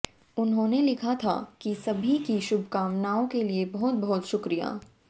उन्होंने लिखा था कि सभी की शुभकामनाओं के लिए बहुत बहुत शुक्रिया